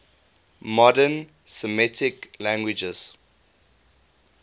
modern semitic languages